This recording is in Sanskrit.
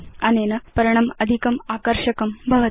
अनेन पर्णम् अधिकम् आकर्षकं भवति